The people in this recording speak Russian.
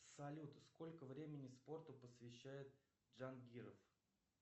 салют сколько времени спорту посвящает джангиров